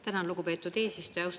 Tänan, lugupeetud eesistuja!